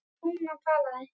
Lúna talaði: